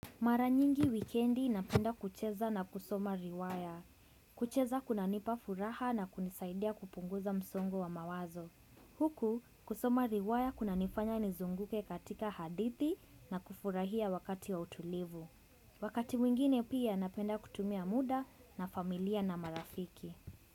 Maranyingi wikendi napenda kucheza na kusoma riwaya. Kucheza kunanipa furaha na kunisaidia kupunguza msongo wa mawazo. Huku kusoma riwaya kuna nifanya nizunguke katika hadithi na kufurahia wakati wa utulivu. Wakati mwingine pia napenda kutumia muda na familia na marafiki.